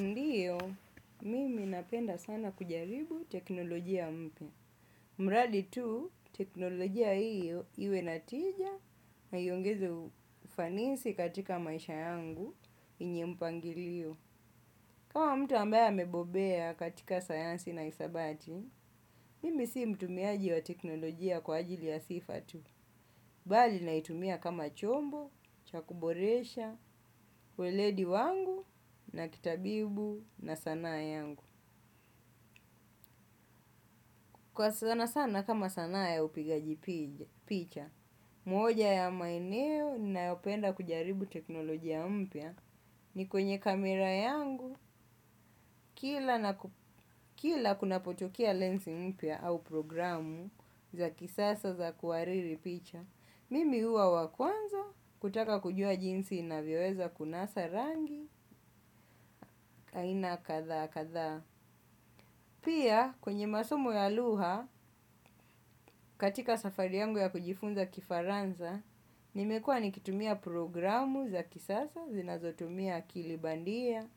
Ndio, mimi napenda sana kujaribu teknolojia mpya. Mradi tu, teknolojia iyo, iwe na tija na hiongeze ufanisi katika maisha yangu yenye mpangilio. Kama mtu ambaya mebobea katika sayansi na hisabati, mimi si mtumiaji wa teknolojia kwa ajili ya sifa tu. Bali na itumia kama chombo, chakuboresha, ueledi wangu na kitabibu na sanaa yangu. Kwa sana sana kama sanaa ya upigaji picha, mwoja ya maeneo ninayopenda kujaribu teknoloji ya mpya ni kwenye kamera yangu kila kunapotokea lensi mpya au programu za kisasa za kuwariri picha. Mimi huwa wakwanza kutaka kujua jinsi inavyoweza kunasa rangi aina kadha kadha. Pia, kwenye masomo ya lugha, katika safari yangu ya kujifunza kifaranza, nimekua nikitumia programu za kisasa, zinazotumia akilibandia,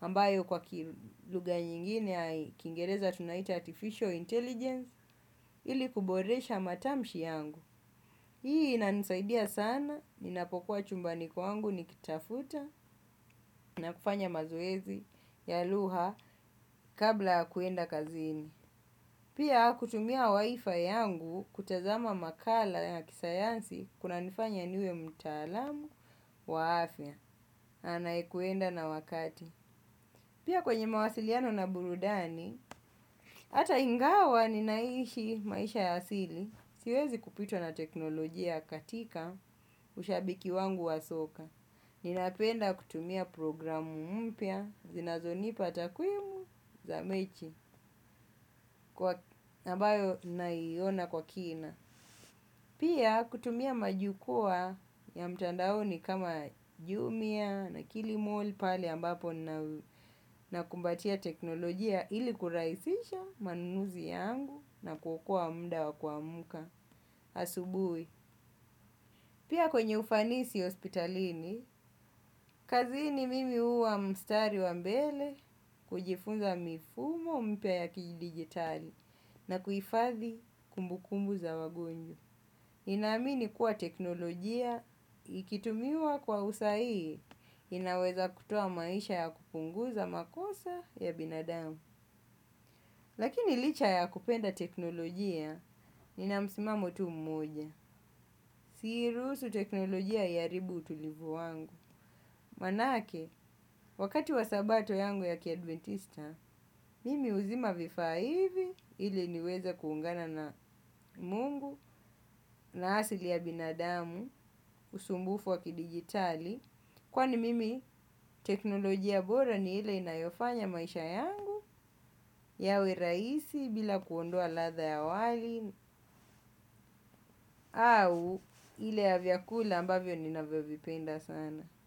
ambayo kwa kilugha nyingine ya kingereza tunaita artificial intelligence, ili kuboresha matamshi yangu. Hii, ina nisaidia sana, ninapokuwa chumbani kwangu nikitafuta na kufanya mazoezi ya lugha kabla ya kuenda kazini. Pia kutumia wifi yangu kutazama makala ya kisayansi kuna nifanya niwe mtaalamu wa afya, anaekuenda na wakati. Pia kwenye mawasiliano na burudani, ata ingawa ninaishi maisha ya asili, siwezi kupitwa na teknolojia katika ushabiki wangu wa soka. Ninapenda kutumia programu mpya, zinazonipa takuimu za mechi kwa abayo naiona kwa kina. Pia kutumia majukua ya mtandaoni kama jumia na kilimall pale ambapo na kumbatia teknolojia ili kuraisisha manunuzi yangu na kuokoa mda wa kuamka asubuhi. Pia kwenye ufanisi hospitalini, kazini mimi huwa mstari wa mbele kujifunza mifumo mpya ya kijidigitali na kuhifadhi kumbukumbu za wagonjwa. Ninaamini kuwa teknolojia ikitumiwa kwa usahihi, inaweza kutoa maisha ya kupunguza makosa ya binadamu. Lakini licha ya kupenda teknolojia nina msimamo tu mmoja. Siiruhusu teknolojia iharibu utulivu wangu. Manake, wakati wa sabato yangu ya kiadventista, mimi huzima vifa hivi ili niweze kuungana na Mungu na asili ya binadamu usumbufu wakidigitali. Kwani mimi teknolojia bora ni ile inayofanya maisha yangu yawe raisi bila kuondoa latha ya wali. Au ile ya vyakula ambavyo navyo vipenda sana.